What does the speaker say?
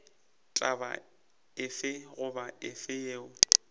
taba efe goba efe yeo